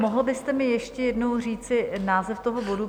Mohl byste mi ještě jednou říci název toho bodu?